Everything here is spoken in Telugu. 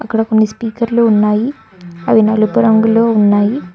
ఇక్కడ కొన్ని స్పీకర్లు ఉన్నాయి అవి నలుపు రంగులో ఉన్నాయి.